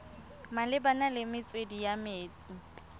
malebana le metswedi ya metsi